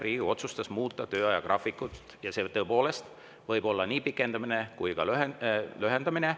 Riigikogu otsustas muuta töö ajagraafikut ja see võib tõepoolest olla nii pikendamine kui ka lühendamine.